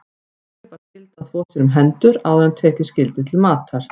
Hverjum bar skylda að þvo sér um hendur áður en tekið skyldi til matar.